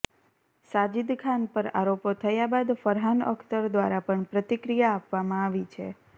સાજિદ ખાન પર આરોપો થયા બાદ ફરહાન અખ્તર દ્વારા પણ પ્રતિક્રિયા આપવામાં આવી છે